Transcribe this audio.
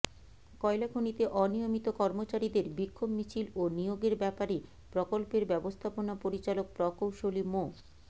কয়লা খনিতে অনিয়মিত কর্মচারীদের বিক্ষোভ মিছিল ও নিয়োগের ব্যাপারে প্রকল্পের ব্যবস্থাপনা পরিচালক প্রকৌশলী মো